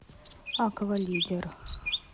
аквалидер